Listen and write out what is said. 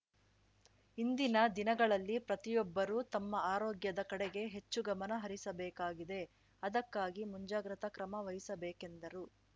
ಇಂದಿನ ದಿನಗಳಲ್ಲಿ ಪ್ರತಿಯೊಬ್ಬರೂ ತಮ್ಮ ಆರೋಗ್ಯದ ಕಡೆಗೆ ಹೆಚ್ಚು ಗಮನ ಹರಿಸಬೇಕಾಗಿದೆ ಅದಕ್ಕಾಗಿ ಮುಂಜಾಗ್ರತಾ ಕ್ರಮ ವಹಿಸಬೇಕೆಂದರು